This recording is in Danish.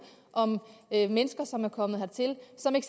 om mennesker som er kommet hertil